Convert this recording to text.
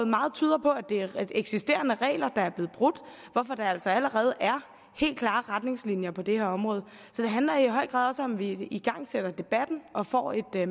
meget tyder på at det er eksisterende regler der er blevet brudt hvorfor der altså allerede er helt klare retningslinjer på det her område det handler i høj grad også om at vi igangsætter debatten og får et